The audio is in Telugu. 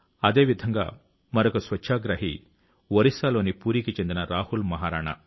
అదేవిధంగా మరొక స్వచ్ఛాగ్రహి ఒరిస్సాలోని పూరీకి చెందిన రాహుల్ మహారాణా